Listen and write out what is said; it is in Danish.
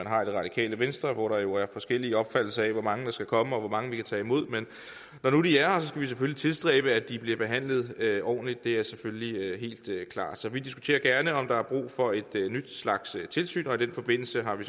har i det radikale venstre hvor der jo er forskellige opfattelser af hvor mange der skal komme og hvor mange vi kan tage imod men når nu de er her skal vi selvfølgelig tilstræbe at de bliver behandlet ordentligt det er selvfølgelig helt klart så vi diskuterer gerne om der er brug for en ny slags tilsyn og i den forbindelse har vi